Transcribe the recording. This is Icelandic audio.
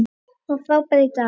Hann var frábær í dag.